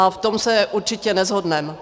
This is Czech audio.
A v tom se určitě neshodneme.